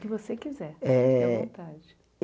Que você quiser. Eh fica à vontade